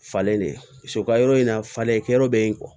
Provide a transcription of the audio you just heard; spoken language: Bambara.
Falen de so ka yɔrɔ in na falen kɛyɔrɔ be yen